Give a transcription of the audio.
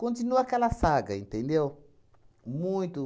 Continua aquela saga, entendeu? Muito